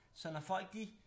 Så når folk de